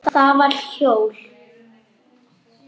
Það var hól.